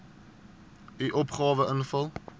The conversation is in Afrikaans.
u opgawe invul